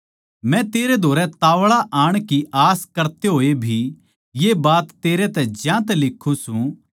मै तेरै धोरै ताव्ळा आण की आस करते होए भी ये बात तेरै तै ज्यांतै लिक्खूँ सूं